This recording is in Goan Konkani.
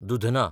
दुधना